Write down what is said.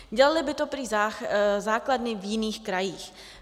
Dělaly by to prý základny v jiných krajích.